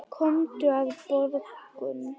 Komdu á morgun.